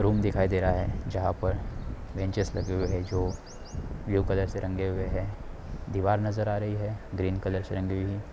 Room दिखाई दे रहा है जहाँ पर बेन्चेस लगे हुए है। जो ब्लू कलर से रंगे हुए है। दिवार नजर आ रही है ग्रीन कलर से रंगी हुई है।